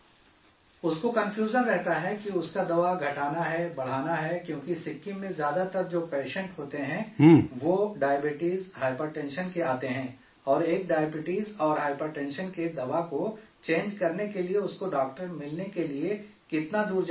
اس کو کنفیوزن رہتا ہے کہ اس کا دوا گھٹانا ہے، بڑھانا ہے، کیوں کہ سکم میں زیادہ تر جو پیشنٹ ہوتے ہیں، وہ ڈائبٹیز، ہائپر ٹینشن کے آتے ہیں اور ایک ڈائبٹیز اور ہائپر ٹینشن کے دوا کو چینج کرنے کے لیے اس کو ڈاکٹر سے ملنے کے لیے کتنا دور جانا پڑتا ہے